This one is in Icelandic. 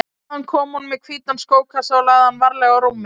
Þaðan kom hún með hvítan skókassa og lagði hann varlega á rúmið.